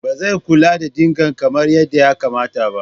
Ba zai kula da dinger kamar yadda ya kamata.